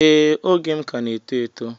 Ee oge m ka na eto eto